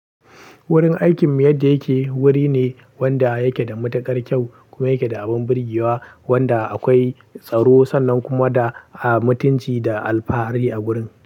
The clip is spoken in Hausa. Wurin aikinmu yadda yake wuri ne wanda yake da matuƙar kyau kuma yake da abin birgewa wanda akwai tsaro sannan kuma da a mutunci da alfahari a gurin.